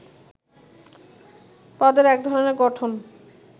পদের একধরণের গঠন